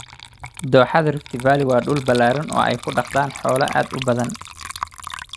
Dooxada Rift Valley waa dhul ballaaran oo ay ku dhaqdaan xoolo aad u badan.